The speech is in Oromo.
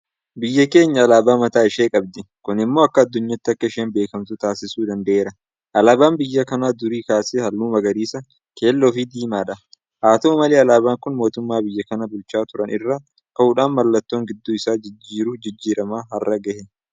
Biyyi keenya alaabaa mataa ishee qabdi. Kun immoo akka addunyaatti akka isheen beekamtu taasisuu danda'eera. Alaabaan biyya kanaa durii kaasee halluu Magariisa, Keelloofi Diimaadha. Haata'u malee alaabaan kun mootummoota biyya kana bulchaa turan irraa ka'uudhaan mallattoon gidduu isaa jiru jijijjiiramaa har'a gahe.